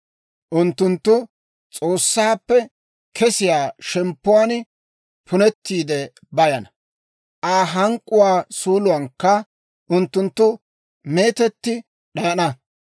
Unttunttu S'oossaappe kesiyaa shemppuwaan punettiide bayana; Aa hank'k'uwaa suuluwaankka unttunttu meetetti d'ayana.